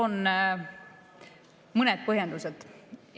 Toon mõned põhjendused.